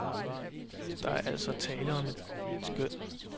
Der er altså tale om et skøn.